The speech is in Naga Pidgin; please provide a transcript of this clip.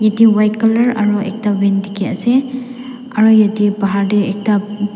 te white colour aro ekta van dikey ase aro atey bhahar tey ekta.